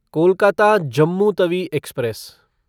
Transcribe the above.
Kolkata Jammu Tawi express